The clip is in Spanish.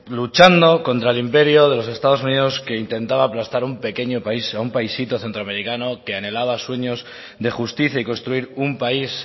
luchando contra el imperio de los estados unidos que intentaba aplastar un pequeño país un paisito centroamericano que anhelaba sueños de justicia y construir un país